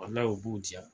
u b'u diya